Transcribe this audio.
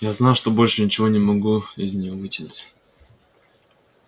я знал что больше ничего не могу из неё вытянуть